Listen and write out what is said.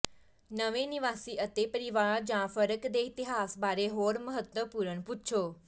ਨਵੇਂ ਨਿਵਾਸੀ ਅਤੇ ਪਰਿਵਾਰ ਜਾਂ ਫਰਕ ਦੇ ਇਤਿਹਾਸ ਬਾਰੇ ਹੋਰ ਮਹੱਤਵਪੂਰਨ ਪੁੱਛੋ